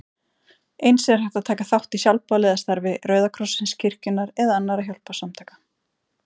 Eins er hægt að taka þátt í sjálfboðaliðastarfi Rauða krossins, kirkjunnar eða annarra hjálparsamtaka.